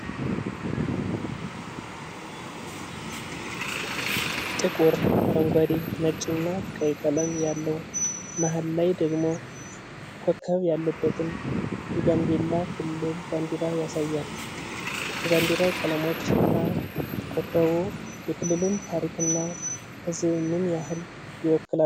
ጥቁር፣ አረንጓዴ፣ ነጭ እና ቀይ ቀለም ያለው፣ መሀል ላይ ደግሞ ኮከብ ያለበትን የጋምቤላ ክልል ባንዲራ ያሳያል። የባንዲራው ቀለሞች እና ኮከቡ የክልሉን ታሪክና ሕዝብ ምን ያህል ይወክላሉ?